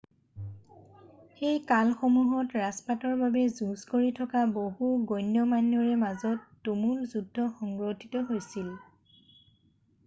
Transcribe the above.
সেই কালসমূহত ৰাজপাটৰ বাবে যুঁজ কৰি থকা বহু গণ্যমান্যৰ মাজত তুমুল যুদ্ধ সংঘটিত হৈছিল